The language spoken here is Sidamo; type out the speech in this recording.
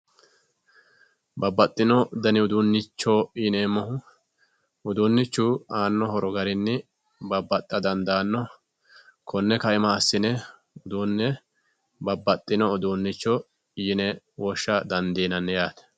babbaxxino dani uduunnicho yinemmohu uduunnichu aanno horo garinni babbaxxa dandaanno konni kaima assine uduunne babbaxxino uduunnicho yine woshsha dandiinanni yaate